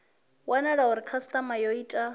wanala uri khasitama yo ita